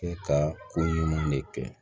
E ka ko ɲuman de kɛ